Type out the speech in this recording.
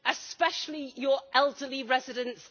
especially your elderly residents?